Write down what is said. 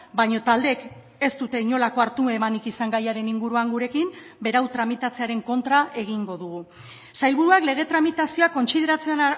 baina taldeek ez dute inolako hartu emanik izan gaiaren inguruan gurekin berau tramitatzearen kontra egingo dugu sailburuak lege tramitazioa kontsideratzen